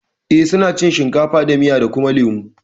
Eh suna cin shinkafa da miya da kuma lemo